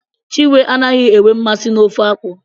Chinwe anaghị enwe nmasị n'ofe akwụ.